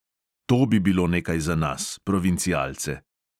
To bi bilo nekaj za nas, provincialce.